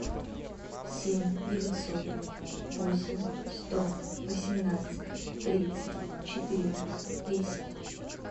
семь девятьсот восемь сто восемнадцать тридцать четыре десять